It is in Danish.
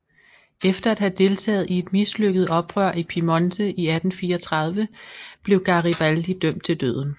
Efter at have deltaget i et mislykket oprør i Piemonte i 1834 blev Garibaldi dømt til døden